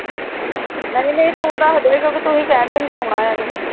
ਨਹੀਂ ਨਹੀਂ ਤੂੰ ਦਸਦੇ ਕਿਉਂਕਿ ਤੁਹੀ ਕੇਹਨ ਡੇਆ ਸੀ ਸੋਣਾ ਯਾ